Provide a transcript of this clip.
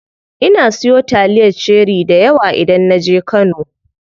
Ina siyo taliyar cherie dayawa idan naje kano.